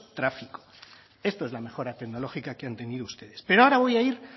tráfico esto es la mejora tecnológica que han tenido ustedes pero ahora voy a ir